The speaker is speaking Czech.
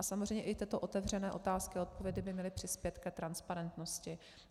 A samozřejmě i tyto otevřené otázky a odpovědi by měly přispět k transparentnosti.